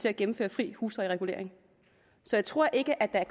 at gennemføre fri huslejeregulering så jeg tror ikke at der